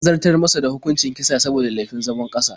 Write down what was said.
An zartar masa da hukuncin kisa saboda laifin zabon ƙasa.